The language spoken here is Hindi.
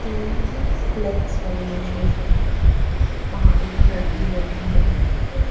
तीन लेग्स मनी मशीन हैं वहां एक लड़की बैठी है।